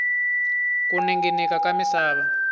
ku ninginika ka misava